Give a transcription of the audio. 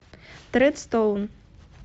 тредстоун